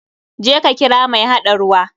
Je ka kira mai haɗa ruwa.